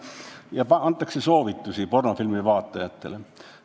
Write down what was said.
Ja antakse soovitusi pornofilmi vaatajatele.